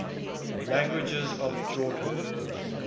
languages of jordan